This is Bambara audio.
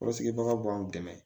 Kɔrɔsigibagaw b'an dɛmɛ